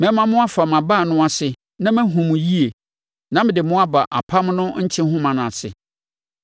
Mɛma moafa mʼabaa no ase na mahunu mo yie na mede mo aba apam no nkyehoma ase.